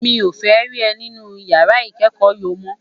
Mi ó fè ri è ninú iyàrá ikèékò yo mò